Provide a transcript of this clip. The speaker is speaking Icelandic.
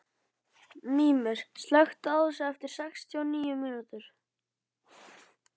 Mímir, slökktu á þessu eftir sextíu og níu mínútur.